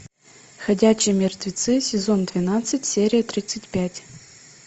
ходячие мертвецы сезон двенадцать серия тридцать пять